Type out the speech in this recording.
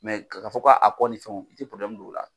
ka kaa fɔ ka kɔ ni fɛnw i tɛ don o la.